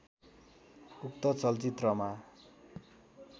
उक्त चलचित्रमा